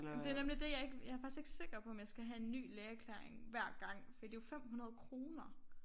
Men det nemlig det jeg ikke jeg faktisk ikke sikker på om jeg skal have en ny lægeerklæring hver gang for det jo 500 kroner